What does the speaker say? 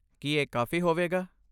ਕੀ ਇਹ ਕਾਫ਼ੀ ਹੋਵੇਗਾ?